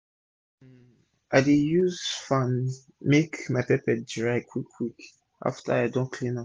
um i dey use fan make my pepper dry quick quick afta i don clean am